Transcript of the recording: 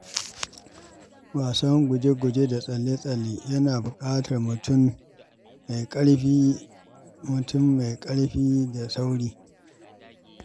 Wasan guje-guje da tsalle-tsalle yana buƙatar mutum mai ƙarfi da sauri.